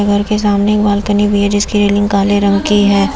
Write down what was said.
घर के सामने एक बालकनी भी है जिसकी रेलिंग काले रंग की है।